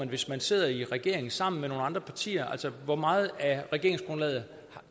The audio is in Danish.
hvis man sidder i regering sammen med nogle andre partier altså hvor meget af regeringsgrundlaget